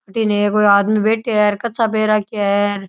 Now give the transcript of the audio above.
अठीने कोई आदमी बैठ्या है और कच्चा पहर राख्या है।